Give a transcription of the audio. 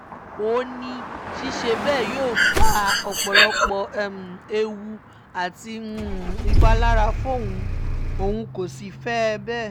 ó ní ṣíṣe bẹ́ẹ̀ yóò fa ọ̀pọ̀lọpọ̀ ewu àti ìpalára fóun òun kó sì fẹ́ bẹ́ẹ̀